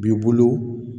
B'i bolo